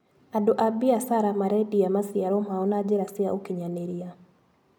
Andũ a mbiacara marendia maciaro mao na njĩra cia ũkinyanĩria.